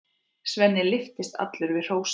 Svenni lyftist allur við hrósið.